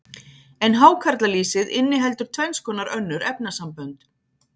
en hákarlalýsið inniheldur tvenns konar önnur efnasambönd